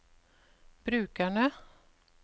brukerne